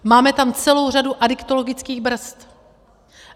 Máme tam celou řadu adiktologických brzd.